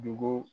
Dugu